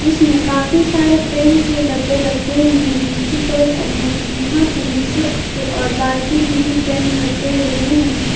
इसमें काफी सारे पेंट के डब्बे रखे हुए जिनकी कलर अनेक है यहां पे नीचे के ओर बाल्टी मे भी पेंट रखे हुए हैं।